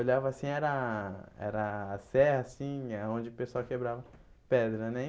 Olhava assim, era era a serra assim, é onde o pessoal quebrava pedra, né?